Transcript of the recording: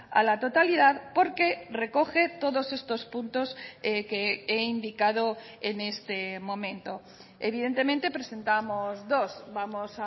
a la totalidad porque recoge todos estos puntos que he indicado en este momento evidentemente presentábamos dos vamos